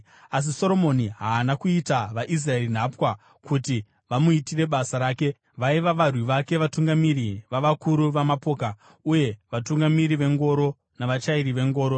Asi Soromoni haana kuita vaIsraeri nhapwa kuti vamuitire basa rake; vaiva varwi vake, vatungamiri vavakuru vamapoka, uye vatungamiri vengoro navachairi vengoro.